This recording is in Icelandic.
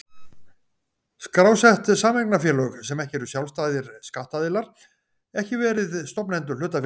skrásett sameignarfélög, sem ekki eru sjálfstæðir skattaðilar, ekki verið stofnendur hlutafélags.